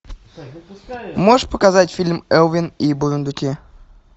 можешь показать фильм элвин и бурундуки